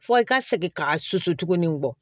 Fɔ i ka segin ka susu tugun nin bɔ